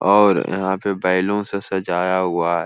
और यहाँ पे बैलून से सजाया हुआ है।